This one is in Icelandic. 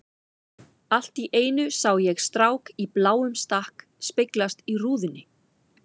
Allt í einu sá ég strák í bláum stakk speglast í rúðunni.